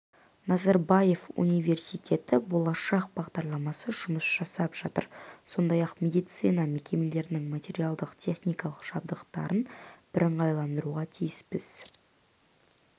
назарбаев университеті болашақ бағдарламасы жұмыс жасап жатыр сондай-ақ медицина мекемелерінің материалдық-техникалық жабдықталуын бірыңғайландыруға тиіспіз